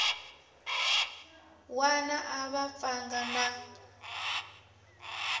wana a va pfanga na